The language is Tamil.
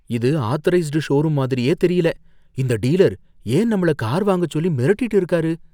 இது ஆத்தரைஸ்டு ஷோரூம் மாதிரியே தெரியல. இந்த டீலர் ஏன் நம்மள கார் வாங்கச் சொல்லி மிரட்டிட்டு இருக்காரு?